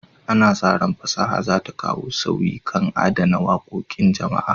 Ana sa ran fasaha za ta kawo sauyi kan adana wakokin jama'a.